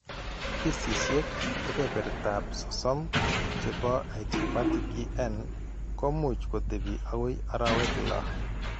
Kesisiek kepeperta 30% che po idiopathic EN ko much kotepi akoi arowek 6.